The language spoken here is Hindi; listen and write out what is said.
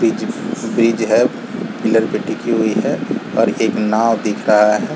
ब्रिज है पिलर पे टिकी हुई है और एक नाव दिख रहा है।